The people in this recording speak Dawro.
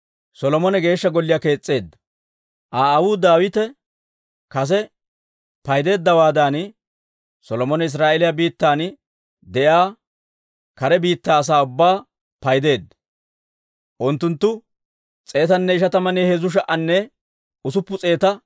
Aa aawuu Daawite kase paydeeddawaadan, Solomone Israa'eeliyaa biittan de'iyaa kare biittaa asaa ubbaa paydeedda; unttunttu 153,600 gideeddino.